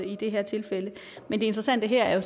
i det her tilfælde men det interessante her